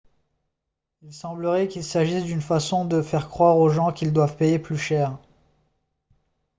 il semblerait qu'il s'agisse d'une façon de faire croire aux gens qu'ils doivent payer plus cher